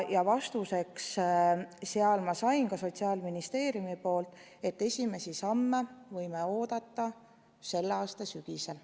Ja ma sain Sotsiaalministeeriumilt vastuse, et esimesi samme võime oodata selle aasta sügisel.